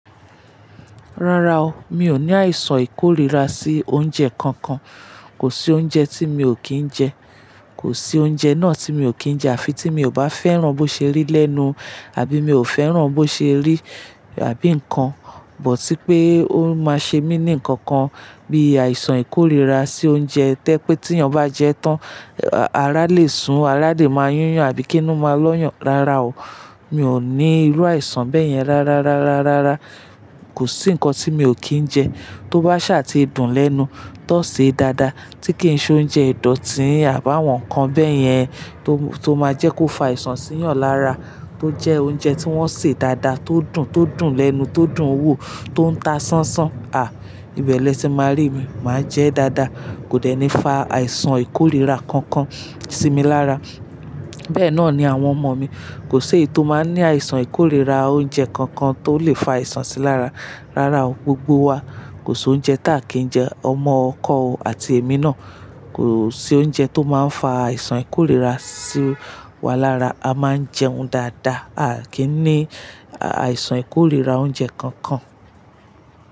Rárá o, mi ò ní àìsàn ìkórìíra sí oúnjẹ kankan. Kò sí oúnjẹ tí mi ò kí ń jẹ. Kò sí oúnjẹ náà tí mi ò kí ń jẹ, àfi tí mi ò bá fẹ́ràn bó ṣe rí lẹ́nu àbí mi ò fẹ́ràn bó ṣe rí àbí nǹkan. But tí pé ó máa ṣe mí ní nǹkan kan bí àìsàn ìkórìíra sí oúnjẹ, tẹ́ pé tí ènìyàn bá jẹ tán, ara lè sun, ara lè máa yúnyan àbí kí inú máa lọ́yàn. Rárá o, mi ò ní irú àìsàn bẹ́ẹ̀ yẹn. Rárá, rárá, rárá, rárá. Kò sí nǹkan tí mi ò kí ń jẹ. Tó bá ṣà ti dùn lẹ́nu, tọ se dáadáa, tí kì ń ṣe oúnjẹ ìdọ̀tí àbáwọ̀n nkan bẹ́ẹ̀ yẹn tó máa jẹ́ kó fa àìsàn sí yan lára, tó jẹ́ oúnjẹ tí wọ́n sè dáadáa, tó dùn, tó dùn lẹ́nu, tó dùn òwò, tó ń ta sánsán, à, ibẹ̀ lọ́ ṣe máa rí mi. Màá jẹ́ dáadáa. Kò dẹ́ni fa àìsàn ìkórìíra kankan sí mi lára. Bẹ́ẹ̀ náà ni àwọn ọmọ mi. Kò ṣe é tó máa ń ní àìsàn ìkórìíra oúnjẹ kankan tó lè fa àìsàn sí lára. Rárá o, gbogbo wa, kò sí oúnjẹ táà kì ń jẹ. Ọmọ ọkọ o àti èmi náà kò sí oúnjẹ tó máa ń fa àìsàn ìkórìíra sí wa lára. A máa ń jẹun dáadáa. A kì í n ní àìsàn ìkórìíra oúnjẹ kankan.